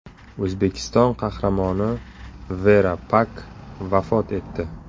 O‘zbekiston Qahramoni Vera Pak vafot etdi.